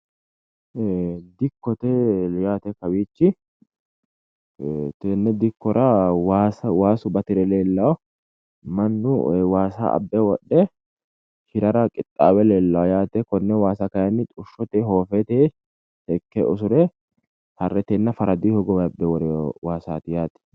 Dikkote yaate kawiichi tenne dikkora waasu batire leellanno mannu waasa abbire wodhe hirara qixaawe leellawo yaate konne waasa xushotenni hoofetenni seekke usure harretennina faradunni abbe worewo waasaati yaate